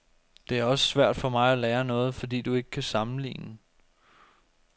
Det er også svært for mig at lære noget, fordi du ikke kan sammenligne.